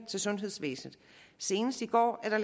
til sundhedsvæsenet senest i går er der